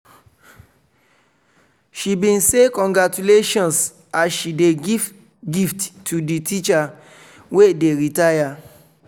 she bin say "congratulations" as she dey give gift to di teacher wey dey retire.